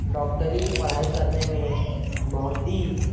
डॉक्टरी की पढाई करने में बोहोत ही--